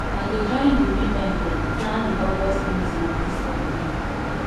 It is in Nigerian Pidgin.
i go join di women dem plan di august meeting dis holiday